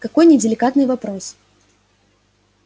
какой неделикатный вопрос